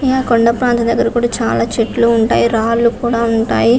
ఆ కొండా ప్రాంతం దగ్గర చాల చెట్లు ఉంటాయి రాళ్ళూ కూడా ఉంటాయి .